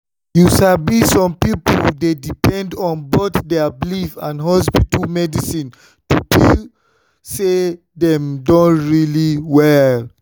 you sabi some people dey depend on both their belief and hospital medicine to feel say dem don really well.